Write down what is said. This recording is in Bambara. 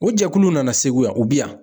O jɛkuluw nana segu yan o bi yan